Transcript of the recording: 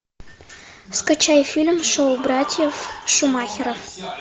скачай фильм шоу братьев шумахеров